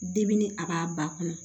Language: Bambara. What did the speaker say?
Debini a b'a ba kɔnɔ